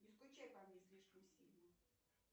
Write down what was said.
не скучай по мне слишком сильно